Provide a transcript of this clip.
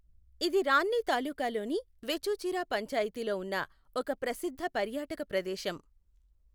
ఇది రాన్ని తాలూకాలోని వేచూచిరా పంచాయతీలో ఉన్న ఒక ప్రసిద్ధ పర్యాటక ప్రదేశం.